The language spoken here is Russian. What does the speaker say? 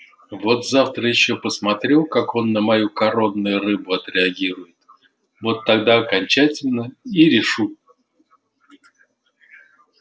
вот завтра ещё посмотрю как он на мою коронную рыбу отреагирует вот тогда окончательно и решу